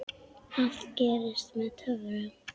Allt gerist með töfrum.